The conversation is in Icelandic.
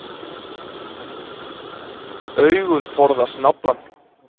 Augun forðast naflann.